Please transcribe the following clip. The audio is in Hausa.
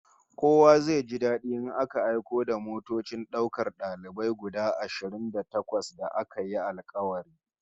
Kowa zai ji dadi in aka aiko da motocin daukar dalibai guda ashirin da takwas da aka yi alkawari